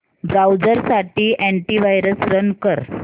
browser साठी antivirus run कर